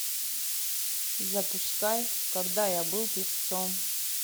запускай когда я был певцом